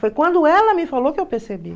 Foi quando ela me falou que eu percebi.